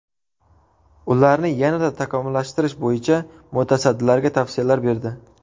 Ularni yanada takomillashtirish bo‘yicha mutasaddilarga tavsiyalar berdi.